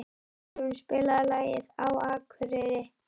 Friðrún, spilaðu lagið „Á Akureyri“.